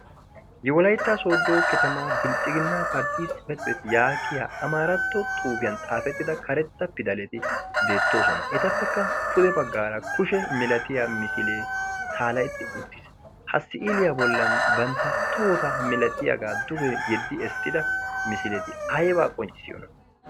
ye walayttaa soodo ketemaa bilxxiginna parttii tsipetibet yaagiya amaaratto xuufiyan xaafettida karetta pidaleti deettoosona etappekka pude baggaara kushe milatiya misilee saalahetti uttiis ha siiiliyaa bollan bantta tohota milatiyaagaa duge yeddi essida misileti ayyebaa qonccissiyoona